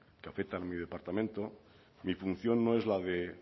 que afectan a mi departamento mi función no es la de